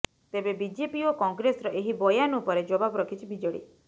ତେବେ ବିଜେପି ଓ କଂଗ୍ରେସର ଏହି ବୟାନ ଉପରେ ଜବାବ ରଖିଛି ବିଜେଡି